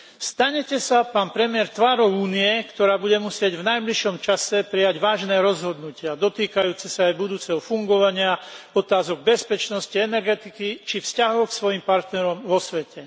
Stanete sa, pán premiér, tvárou Únie, ktorá bude musieť v najbližšom čase prijať vážne rozhodnutia dotýkajúce sa aj budúceho fungovania, otázok bezpečnosti, energetiky či vzťahov k svojim partnerom vo svete.